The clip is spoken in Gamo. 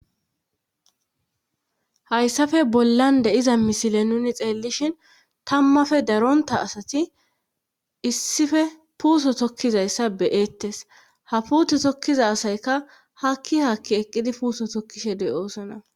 hayssafe bollande iza misile nuni xeellishin tammafe daronta asati issife puuso tokkizayssa beyeettes ha puute tokkiza asayka hakki hakki eqqidi puuso tokkishe de oosona